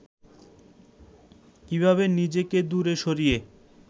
কীভাবে নিজেকে দূরে সরিয়ে